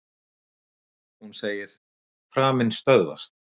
Hún segir: Framinn stöðvast.